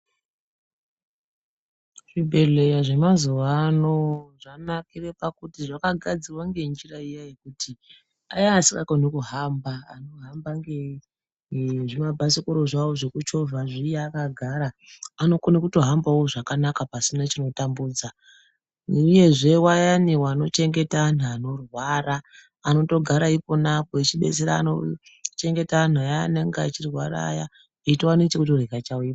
Zvibhedhlera zvemazuwano zvanakire pakuti zvakagadzirwa ngenjira iya yekuti aya asingakoni kuhamba anohamba ngezvimabhasikoro zvawo zvekuchovha zviya akagara anokona kutohambawo zvakanaka pasina chinotambudza uyezve vayani vanochengeta vanhu vanorwara anotogara iponapo echibetsera kuchengeta anhu aya anenge achirwara eitowana chekutorya chaiwo ipapo.